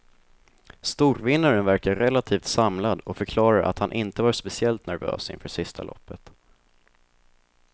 Storvinnaren verkar relativt samlad och förklarar att han inte var speciellt nervös inför sista loppet.